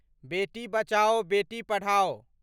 बेटी बचाओ बेटी पढ़ाओ